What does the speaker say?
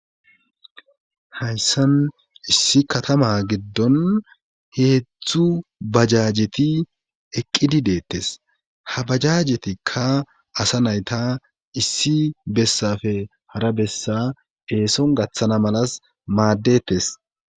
hayssan issi katama giddon heetztzu bajajeti eqqidi deettes ha bajajetikka asa nayta issi bessafe hara bessa heeson gaththana malas maaddettes